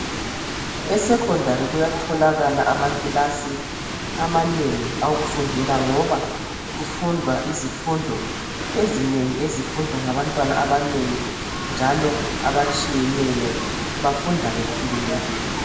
E 'secondary' kuyatholakala amakilasi amanengi awokufundela ngoba kufudwa izifundo ezinengi ezifudwa ngabantwana abanengi, njalo abatshiyneyo bafunda bekhululekile.